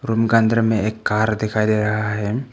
Room का अंदर में एक कार दिखाई दे रहा है।